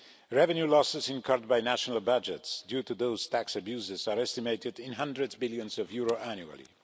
Revenue losses incurred by national budgets due to those tax abuses are estimated in hundreds of billions of euros annually.